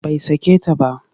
Bai sake ta ba